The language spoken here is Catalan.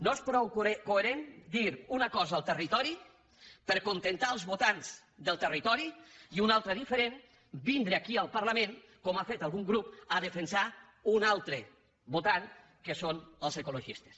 no és prou coherent dir una cosa al territori per acontentar els votants del territori i una altra diferent vindre aquí al parlament com ha fet algun grup a defensar una altra votant que són els ecologistes